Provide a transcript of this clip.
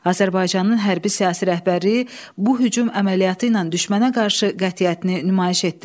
Azərbaycanın hərbi-siyasi rəhbərliyi bu hücum əməliyyatı ilə düşmənə qarşı qətiyyətini nümayiş etdirdi.